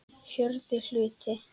Fjórði hluti